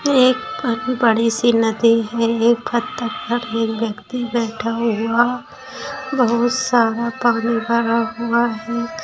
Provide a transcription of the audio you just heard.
एक ब बड़ी सी नदी है एक बत्तक एक व्यक्ति बैठा हुआ बहुत सारा पानी भरा हुआ है।